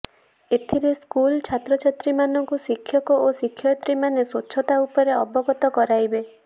ଏଥିରେ ସ୍କୁଲ ଛାତ୍ରଛାତ୍ରୀମାନଙ୍କୁ ଶିକ୍ଷକ ଓ ଶିକ୍ଷୟତ୍ରୀମାନେ ସ୍ୱଚ୍ଛତା ଉପରେ ଅବଗତ କରାଇବେ